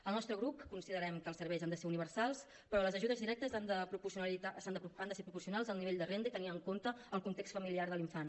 al nostre grup considerem que els serveis han de ser universals però les ajudes directes han de ser proporcionals al nivell de renda i tenir en compte el context familiar de l’infant